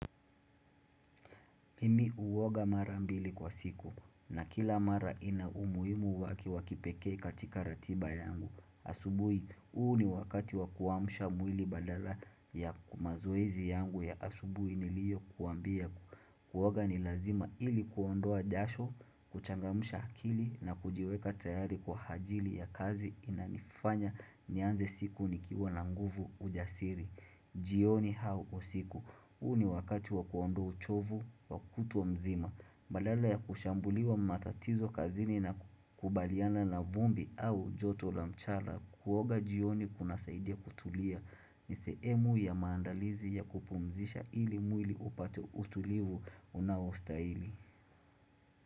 Mimi huoga mara mbili kwa siku na kila mara ina umuimu waki wakipeke katika ratiba yangu. Asubui, huu ni wakati wakuamsha mwili badala mazoezi yangu ya asubui niliyo kuwambia. Kuoga ni lazima ili kuondoa jasho, kuchangamsha hakili na kujiweka tayari kwa ajili ya kazi inanifanya nianze siku nikiwa na mguvu ujasiri. Jioni au usiku, huu ni wakati wakuondo uchovu, wakutwa mzima Badala ya kushambuliwa matatizo kazini na kukabiliana na vumbi au joto la mchala Kuoga jioni kuna saidia kutulia nisehemu ya maandalizi ya kupumzisha ili mwili upate utulivu unaostahili.